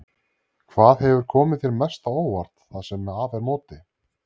Hvað hefur komið þér mest á óvart það sem af er móti?